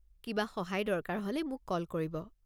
কিবা সহায় দৰকাৰ হ'লে মোক কল কৰিব।